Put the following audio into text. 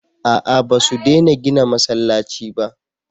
a'a ba su dena gina masallaci ba